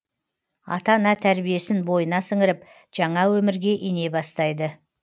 ата ана тәрбиесін бойына сіңіріп жаңа өмірге ене бастайды